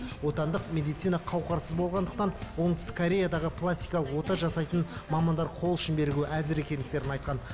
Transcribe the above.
отандық медицина қауқарсыз болғандықтан оңтүстік кореядаға пластикалық ота жасайтын мамандар қол ұшын беруге әзір екендіктерін айтқан